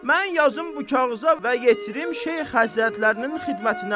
Mən yazım bu kağıza və yetirim Şeyx Həzrətlərinin xidmətinə.